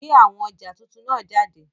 Gbe awọn ọja tuntun naa jade!